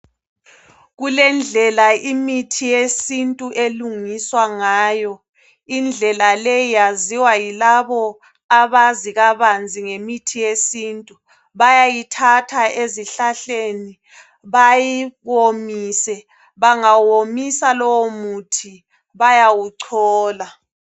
Kulendlela imithi yesintu elungiswa ngayo. Indlela le yaziwa yilabo abazi kabanzi ngemithi yesintu. Bayayithatha ezihlahleni bayiwomise, bangawomisa lowomuthi bayawuchola.